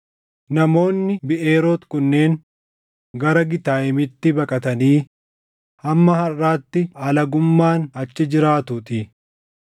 namoonni Biʼeeroot kunneen gara Gitayimitti baqatanii hamma harʼaatti alagummaan achi jiraatuutii.